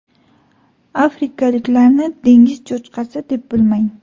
Afrikaliklarni dengiz cho‘chqasi deb bilmang.